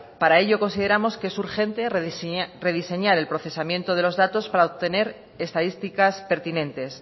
para ello consideramos que es urgente rediseñar el procesamiento de los datos para obtener estadísticas pertinentes